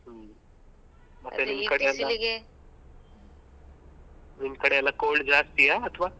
ಹ್ಮ್‌ ನಿಮ್ ಕಡೆ ಎಲ್ಲ cold ಜಾಸ್ತಿಯಾ ಅಥ್ವ?